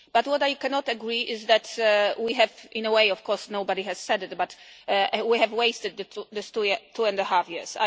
But what I cannot agree with is that we have in a way of course nobody has said it that we have wasted these two and a half years.